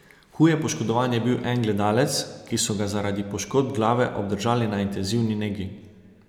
Huje poškodovan je bil en gledalec, ki so ga zaradi poškodb glave obdržali na intenzivni negi.